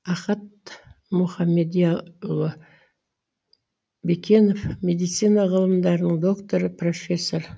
ахат мұхамедияұлы бекенов медицина ғылымдарының докторы профессор